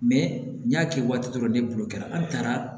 n y'a kɛ waati dɔ ni bolo kɛra an taara